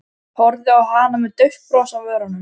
Horfði á hana með dauft bros á vörunum.